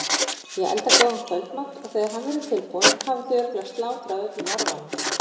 Ég elda góðan kvöldmat og þegar hann verður tilbúinn hafið þið örugglega slátrað öllum arfanum.